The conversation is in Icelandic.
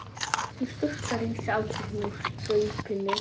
Hún sturtar í sig afganginum úr staupinu.